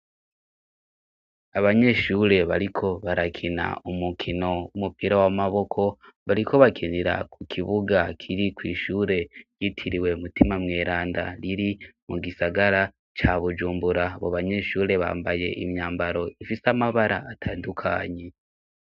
Abanyeshure bariko barakina umukino w'umupira w'amaboko bariko bakinira ku kibuga kiri kw'ishure yitiriwe mutima mweranda riri mu gisagara ca bujumbura bo banyeshure bambaye imyambaro ifise amabara atandukanyi.